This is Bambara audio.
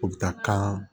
O bɛ taa kan